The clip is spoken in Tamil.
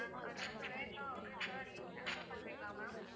நாங்க அது வந்து வேண்டாம் அப்பிடின்னு சொன்னா நீங்க cancel பண்ணுவீங்களா ma'am